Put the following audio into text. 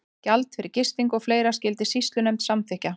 Gjald fyrir gistingu og fleira skyldi sýslunefnd samþykkja.